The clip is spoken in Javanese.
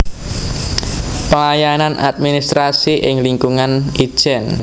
Pelayanan administrasi ing lingkungan Itjen